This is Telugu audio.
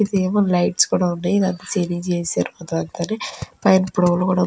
ఇది లో లైటింగ్సు ఉన్నాయి. ఇదంతా సీలింగ్రు చేసేసారు. --